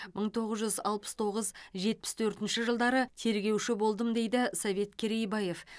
мың тоғыз жүз алпыс тоғыз жетпіс төртінші жылдары тергеуші болдым дейді совет керейбаев